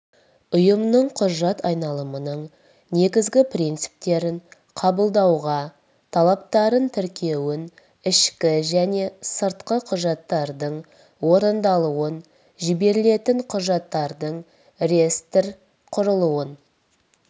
ұйымның құжат айналымының негізгі принциптерін қабылдауға талаптарын тіркеуін ішкі және сыртқы құжаттардың орындалуын жіберілетін құжаттардың реестр құрылуын